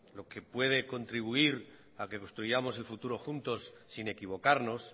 lo que puede contribuir a que construyamos el futuro juntos sin equivocarnos